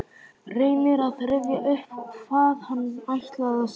Reynir að rifja upp hvað hann ætlaði að segja.